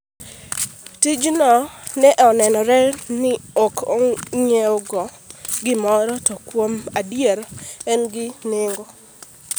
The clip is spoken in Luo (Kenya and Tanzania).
Tijno ne nenore ni ok ng’iewogi gimoro to kuom adier en gi nengo.